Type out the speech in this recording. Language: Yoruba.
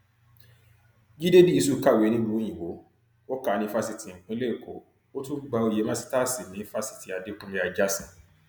jíde díìṣù kàwé nílùú òyìnbó ó kà ní fásitì ìpínlẹ èkó ó tún gba oyè màsítáàsì ní fásitì adékùnlé ajásìn